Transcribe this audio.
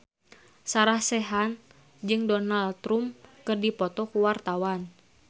Sarah Sechan jeung Donald Trump keur dipoto ku wartawan